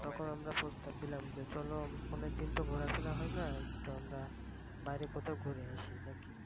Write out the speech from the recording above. তখন আমরা প্রস্তাব দিলাম যে চল আমরা অনেক দিন তো ঘুরাফেরা হয় না একটু আমরা একদিন বাইরে কোথাও ঘুরে আসি নাকি